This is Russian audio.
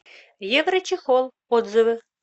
еврочехол отзывы